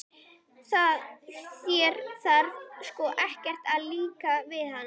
Þér þarf sko ekkert að líka við hana.